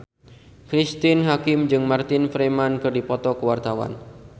Cristine Hakim jeung Martin Freeman keur dipoto ku wartawan